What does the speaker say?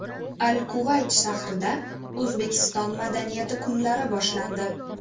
Al-Kuvayt shahrida O‘zbekiston madaniyati kunlari boshlandi .